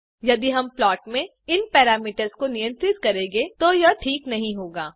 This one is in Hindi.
यदि हम प्लॉट में इन पैरामीटर्स को नियंत्रित करेंगे तो यह ठीक नहीं होगा